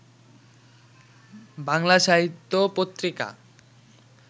বাংলা সাহিত্য পত্রিকা